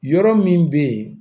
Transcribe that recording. Yɔrɔ min bɛ yen